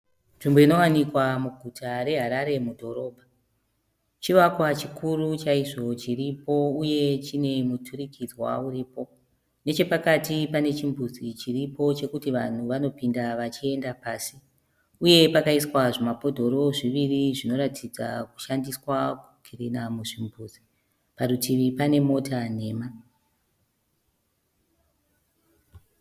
Nzvimbo inowanikwa muguta reHarare mudhorobha chivakwa chikuru chaizvo chiripo uye chine muturikidzwa uripo nechepakati pane chimbuzi chiripo chekuti vanhu vanopinda vachienda pasi, uye pakaiswa zvimabhodhoro zviviri zvinoratidza kushandiswa kukirina muzvimbuzi parutivi pane mota nhema.